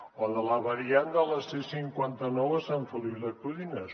o de la variant de la c cinquanta nou a sant feliu de codines